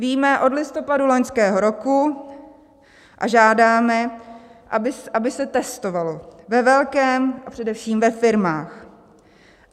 Víme od listopadu loňského roku a žádáme, aby se testovalo ve velkém, a především ve firmách.